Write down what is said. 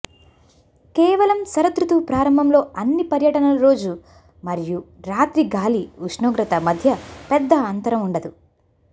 కేవలం శరదృతువు ప్రారంభంలో అన్ని పర్యటనలు రోజు మరియు రాత్రి గాలి ఉష్ణోగ్రత మధ్య పెద్ద అంతరం ఉండదు